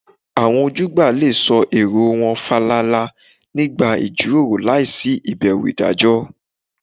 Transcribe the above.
Àwọn ojúgbà lè sọ èrò wọn fàlàlà nígbà ìjíròrò láìsí ìbẹ̀rù ìdájọ́